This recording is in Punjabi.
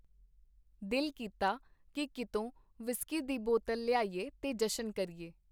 ਦਿਲ ਕੀਤਾ ਕੀ ਕੀਤੋਂ ਵਿਸਕੀ ਦੀ ਬੋਤਲ ਲਿਆਈਏ ਤੇ ਜਸ਼ਨ ਕਰੀਏ.